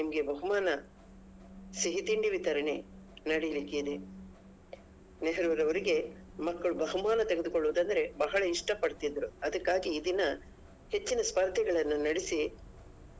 ನಿಮಗೆ ಬಹುಮಾನ ಸಿಹಿ ತಿಂಡಿ ವಿತರಣೆ ನಡಿಲಿಕ್ಕಿದೆ ನೆಹರೂರವರಿಗೆ ಮಕ್ಕಳು ಬಹುಮಾನ ತೆಗೆದುಕೊಳ್ಳುದಂದ್ರೆ ಬಹಳ ಇಷ್ಟ ಪಡ್ತಿದ್ರು ಅದಕ್ಕಾಗಿ ಈ ದಿನ ಹೆಚ್ಚಿನ ಸ್ಪರ್ದೆಗಳನ್ನ ನಡೆಸಿ.